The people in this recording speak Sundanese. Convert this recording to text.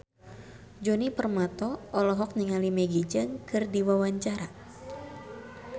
Djoni Permato olohok ningali Maggie Cheung keur diwawancara